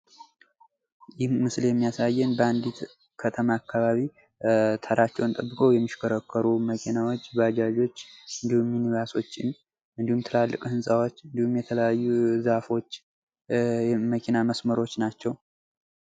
ይህ ምስል የሚያሳየን በአንዲት ከተማ አካባቢ ተራቸውን ጠብቀው የሚሽከረከሩ መኪናዎች፣ ባጃጆች፣ እንዲሁም ባሶችን፣ እንዲሁም ትልልቅ ህንጻዎች፣ እንዲሁም የተለያዩ ዛፎች የመኪና መስመሮች ናቸው።